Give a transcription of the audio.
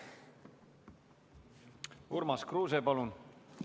Urmas Kruuse, palun!